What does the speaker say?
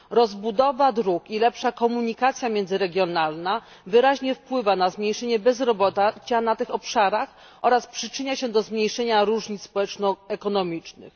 Rozbudowa dróg i lepsza komunikacja międzyregionalna wyraźnie wpływa na zmniejszenie bezrobocia na tych obszarach oraz przyczynia się do zmniejszenia różnic społeczno ekonomicznych.